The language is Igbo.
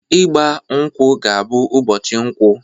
Igba mkwụ ga bụ ụbọchị Nkwọ!